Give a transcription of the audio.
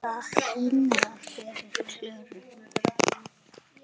Það hýrnar yfir Klöru.